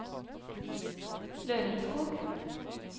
Lørenskog